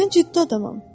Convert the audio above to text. Mən ciddi adamam.